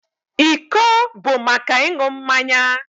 Iko bụ maka ịṅụ mmanya